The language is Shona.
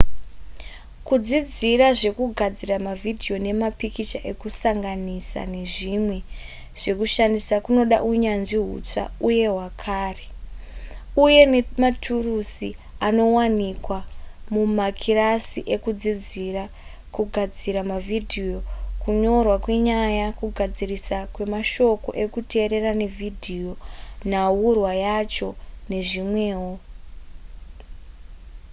kudzidzira zvekugadzira mavhidhiyo nemapikicha ekusanganisa nezvimwe zvekushandisa kunoda unyanzvi hutsva uye hwakare uye nematurusi anowanikwa mumakirasi ekudzidzira kugadzira mavhidhiyo kunyorwa kwenyaya kugadziriswa kwemashoko ekuteerera nevhidhiyo nhaurwa yacho nezvimwewo